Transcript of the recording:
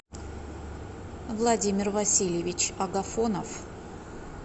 владимир васильевич агафонов